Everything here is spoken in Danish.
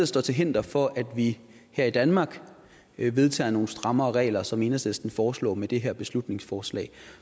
står til hinder for at vi her i danmark vedtager nogle strammere regler sådan som enhedslisten foreslår med det her beslutningsforslag